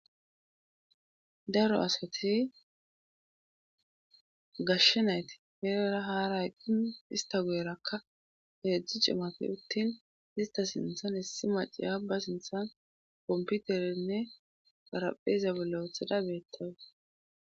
Daro askatis gashshenayti peeera haara aqin ista go7erakka heedzdzu cimafi uttin ista sinthan hissi maciya ba sinthan kompiuterenne paraphezabilaethada beettawes.